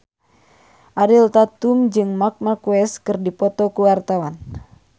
Ariel Tatum jeung Marc Marquez keur dipoto ku wartawan